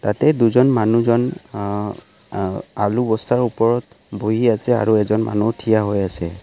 তাতে দুজন মানু্হজন আ আ আলু বস্তাৰ ওপৰত বহি আছে আৰু এজন মানু্হ থিয়া হৈ আছে।